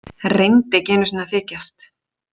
Reyndi ekki einu sinni að þykjast.